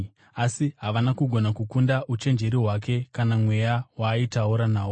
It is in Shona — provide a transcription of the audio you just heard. asi havana kugona kukunda uchenjeri hwake kana Mweya waaitaura nawo.